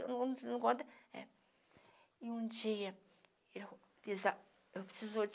é; E um dia, ele disse, eu precisava, eu precisou